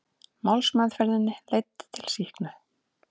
Málsmeðferðin leiddi til sýknu